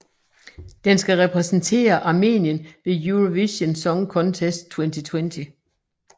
Den skal repræsentere Armenien ved Eurovision Song Contest 2020